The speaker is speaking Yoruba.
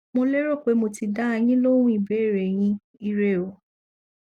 mo lérò pé mo ti dá a yín lóhun ìbéèrè yín ire o